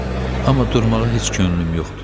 Amma durmağa heç könlüm yoxdur.